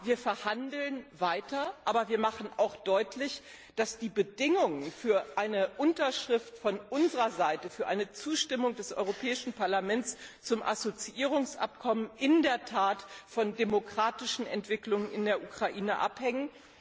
Ja, wir verhandeln weiter, aber wir machen auch deutlich, dass die Bedingungen für eine Unterschrift von unserer Seite, für eine Zustimmung des Europäischen Parlaments zum Assoziierungsabkommen, in der Tat von den demokratischen Entwicklungen in der Ukraine abhängen.